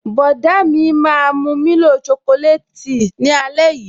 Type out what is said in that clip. Bọ̀dá mi máa mu milo chocolate tea ni ale yii